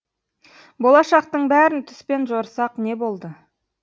болашақтың бәрін түспен жорысақ не болды